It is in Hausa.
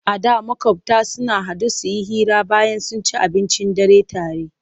A da maƙota sukan haɗu su hira bayan sun ci abincin dare tare.